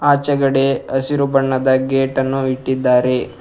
ಆಚೆಗಡೆ ಹಸಿರು ಬಣ್ಣದ ಗೇಟ್ ಅನ್ನು ಇಟ್ಟಿದ್ದಾರೆ.